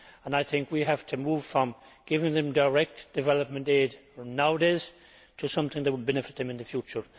I think we have to move from giving them direct development aid, as we do nowadays, to doing something that will benefit them in the future.